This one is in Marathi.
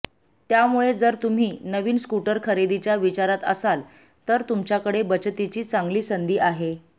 त्यामुळे जर तुम्ही नवीन स्कूटर खरेदीच्या विचारात असाल तर तुमच्याकडे बचतीची चांगली संधी आहे